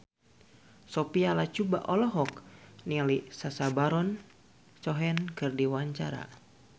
Sophia Latjuba olohok ningali Sacha Baron Cohen keur diwawancara